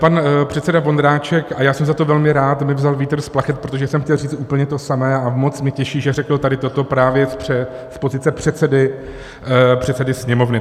Pan předseda Vondráček, a já jsem za to velmi rád, mi vzal vítr z plachet, protože jsem chtěl říct úplně to samé, a moc mě těší, že řekl tady toto právě z pozice předsedy Sněmovny.